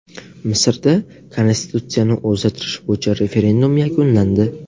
Misrda Konstitutsiyani o‘zgartirish bo‘yicha referendum yakunlandi.